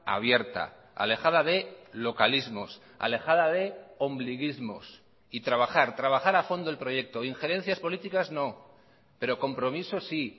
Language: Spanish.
abierta alejada de localismos alejada de ombliguismos y trabajar trabajar a fondo el proyecto injerencias políticas no pero compromiso sí